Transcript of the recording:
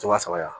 Waa saba yan